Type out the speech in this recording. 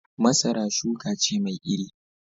Masara shuka ce mai iri